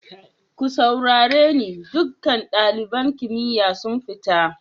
Ku saurare ni, dukan dalibain kimiyya su fita!